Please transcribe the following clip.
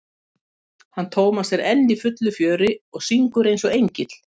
hann Tómas er enn í fullu fjöri og syngur eins og engill.